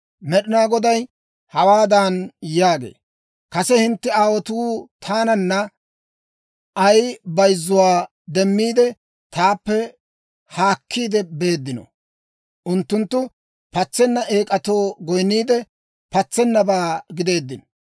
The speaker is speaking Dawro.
Med'inaa Goday hawaadan yaagee; «Kase hintte aawotuu taanan ay bayzzuwaa demmiide, taappe haakkiide beeddino? Unttunttu patsenna eek'atoo goyinniidde, patsennabaa gideeddino.